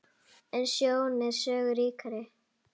En sjón er sögu ríkari.